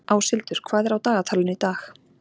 Áshildur, hvað er á dagatalinu í dag?